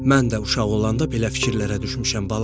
Mən də uşaq olanda belə fikirlərə düşmüşəm balacan.